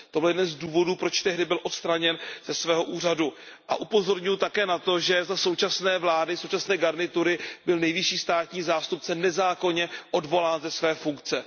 To byl jeden z důvodů, proč byl tehdy odstraněn ze svého úřadu. Upozorňuju také na to, že za současné vlády, současné garnitury byl nejvyšší státní zástupce nezákonně odvolán ze své funkce.